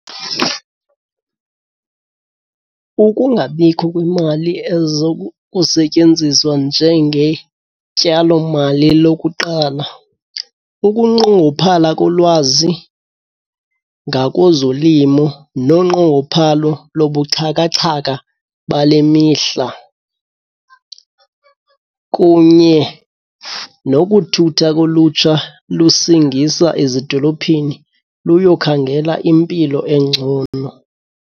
Kukungabikho kwimali ezo kusetyenziswa njengetyalomali lokuqala, ukunqongophala kolwazi ngakozolimo nonqongophalo lobuxhakaxhaka bale mihla, kunye nokuthutha kolutsha lusingisa ezidolophini luyokhangela impilo engcono.